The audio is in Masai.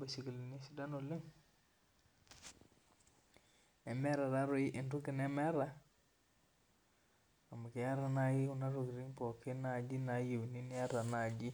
baisikilini sidan oleng nemeeta taatoi entokibnemeta keeta nai kuna tokitin nayieuni niata nai